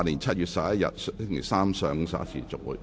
是否有議員想發言？